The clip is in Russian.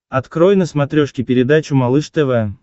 открой на смотрешке передачу малыш тв